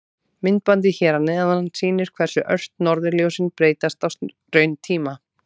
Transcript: Myndbandið hér að neðan sýnir hversu ört norðurljósin breytast á rauntíma.